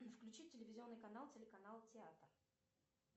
включи телевизионный канал телеканал театр